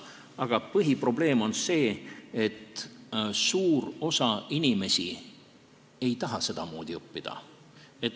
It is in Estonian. Aga põhiprobleem on see, et suur osa inimesi ei taha sedamoodi õppida.